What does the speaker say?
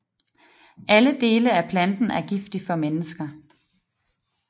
Alle dele af planten er giftig for mennesker